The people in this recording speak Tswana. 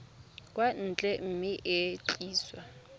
kwa ntle mme e tliswa